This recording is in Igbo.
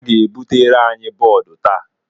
Ha ga-ebutere anyị bọọdụ taa.